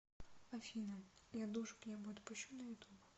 афина я душу к небу отпущу на ютуб